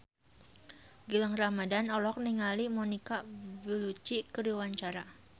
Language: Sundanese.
Gilang Ramadan olohok ningali Monica Belluci keur diwawancara